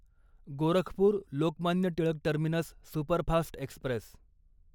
Gorakhpur Lokmanya Tilak terminus superfast Express